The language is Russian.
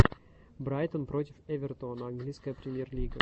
брайтон против эвертона английская премьер лига